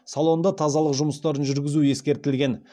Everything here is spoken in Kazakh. салонда тазалық жұмыстарын жүргізу ескертілген